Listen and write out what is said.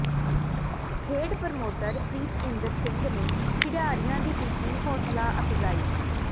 ਖੇਡ ਪ੍ਰਮੋਟਰ ਪ੍ਰੀਤਇੰਦਰ ਸਿੰਘ ਨੇ ਖਿਡਾਰੀਆਂ ਦੀ ਕੀਤੀ ਹੌਸਲਾ ਅਫਜਾਈ